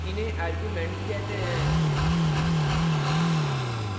इन्हें arguments कहते हैं